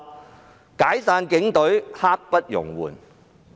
是"解散警隊，刻不容緩"。